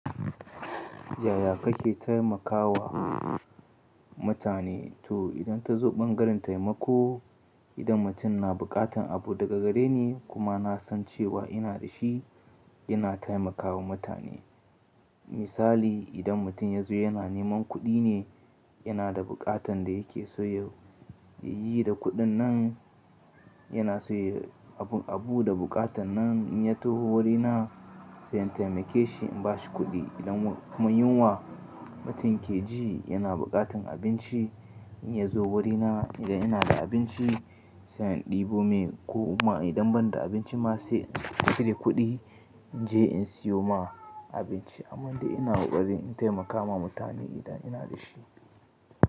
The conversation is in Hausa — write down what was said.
Yaya kake taimakawa mutane? To idan ka zo ɓangaren taimako, idan mutum na buƙatar abu daga gare ni kuma na san cewa ina da shi, ina taimakawa mutane. Misali idan mutum ya zo yana neman kuɗi ne, yana da buƙatan da yake so ya ya yi yi da kuɗin nan, yana so ya abun abu da buƙatan nan, in ya taho wurina sai in taimake shi in ba shi kuɗi. Idan kuma yunwa mutum ke ji, yana buƙatan abinci in ya zo wurina idan ina da abinci sai in ɗibo mai. Ko kuma idan ban da abinci ma sai in cire kuɗi in je in sayo mai abinci. Amman dai ina kokarin in taimaka ma mutane idan ina da shi.